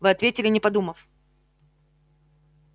вы ответили не подумав